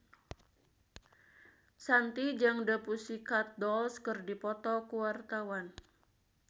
Shanti jeung The Pussycat Dolls keur dipoto ku wartawan